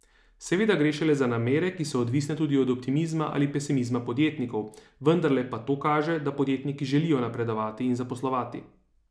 Seveda gre šele za namere, ki so odvisne tudi od optimizma ali pesimizma podjetnikov, vendarle pa to kaže, da podjetniki želijo napredovati in zaposlovati.